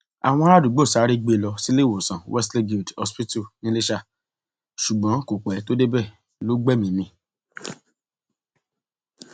àwọn aráàdúgbò sáré gbé e lọ síléèwòsàn wesley guild hospital niléṣà ṣùgbọn kò pẹ tó débẹ lọ gbẹmíín mi